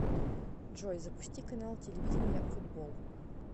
джой запусти канал телевидения футбол